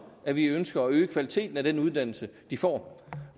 at vi ønsker at øge kvaliteten af den uddannelse de får